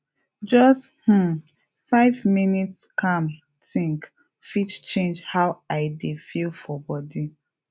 just um five minutes calmthink fit change how i dey feel for body